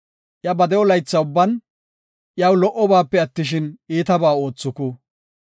Iya ba de7o laytha ubban, iyaw lo77obaape attishin, iitaba oothuku.